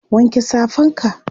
wanke Safan ka!